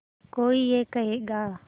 कोई ये कहेगा